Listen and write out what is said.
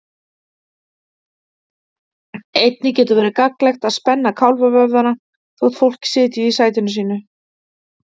Einnig getur verið gagnlegt að spenna kálfavöðvana þótt fólk sitji í sætinu sínu.